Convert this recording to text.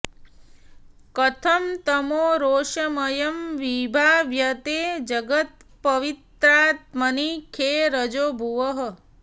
कथं तमो रोषमयं विभाव्यते जगत्पवित्रात्मनि खे रजो भुवः